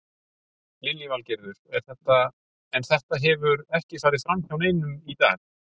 Lillý Valgerður: En þetta hefur ekki farið fram hjá neinum í dag?